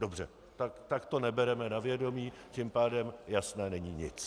Dobře, tak to nebereme na vědomí, tím pádem jasné není nic.